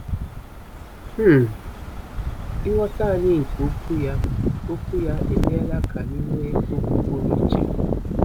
um Ịghọta anyị nke Okwu ya Okwu ya emeela ka anyị nwee okwu pụrụ iche.